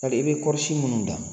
Hali i bɛ kɔɔrisi minnu dan